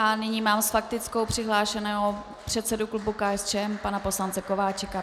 A nyní mám s faktickou přihlášeného předsedu klubu KSČM pana poslance Kováčika.